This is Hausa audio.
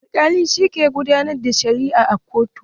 Alkali shi ke gudanar da shari'a a kotun.